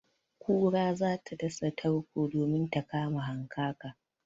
Kura za ta dasa tarko domin ta kama hankaka.